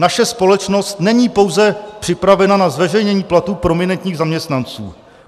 Naše společnost není pouze připravena na zveřejnění platů prominentních zaměstnanců.